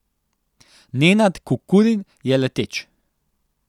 Nenad Kukurin je leteč.